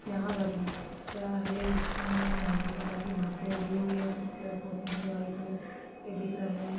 यहां बगीचा है इसमें हरे कलर की घासे उगी हुई है कुछ पेड़ पौधे हैं जो हरे कलर के दिख रहे हैं वहां--